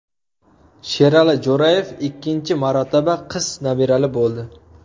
Sherali Jo‘rayev ikkinchi marotaba qiz nabirali bo‘ldi.